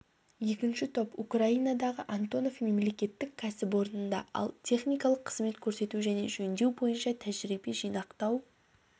екінші топ украинадағы антонов мемлекеттік кәсіпорнында ал техникалық қызмет көрсету және жөндеу бойынша тәжірибе жинақтау